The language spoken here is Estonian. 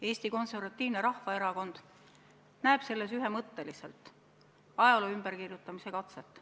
Eesti Konservatiivne Rahvaerakond näeb selles ühemõtteliselt ajaloo ümberkirjutamise katset.